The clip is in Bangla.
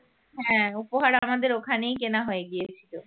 হ্যাঁ উপহার আমাদের ওখানেই কেনা হয়ে গিয়েছিল